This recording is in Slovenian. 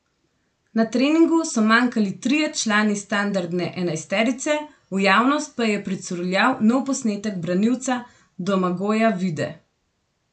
Na treningu so manjkali trije člani standardne enajsterice, v javnost pa je pricurljal nov posnetek branilca Domagoja Vide.